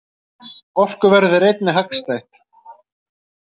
Orkuverðið er einnig hagstætt.